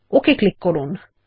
okay click করুন